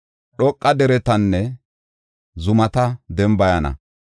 Dhoqa deretanne zumata dembayana.